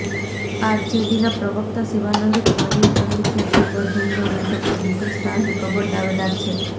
આરજેડીના પ્રવક્તા શિવાનંદ તિવારીએ કહ્યું છે કે દરભંગા બેઠક પર મુકેશ સાહની પ્રબળ દાવેદાર છે